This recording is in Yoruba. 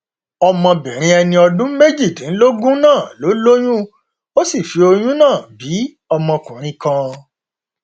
ọmọbìnrin ẹni ọdún méjìdínlógún náà ló lóyún ó sì fi oyún náà bí ọmọkùnrin kan